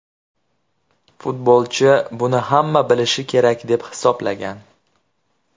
Futbolchi buni hamma bilishi kerak deb hisoblagan.